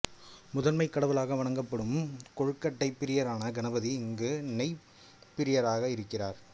முதன்மைக் கடவுளாக வணங்கப்படும் கொழுக்கட்டைப் பிரியரான கணபதி இங்கு நெய்யப்பப் பிரியராக இருக்கிறார்